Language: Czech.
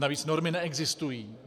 Navíc normy neexistují.